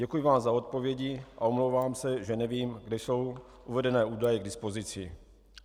Děkuji vám za odpovědi a omlouvám se, že nevím, kde jsou uvedené údaje k dispozici.